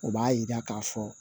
O b'a yira k'a fɔ